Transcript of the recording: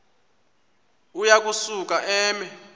uya kusuka eme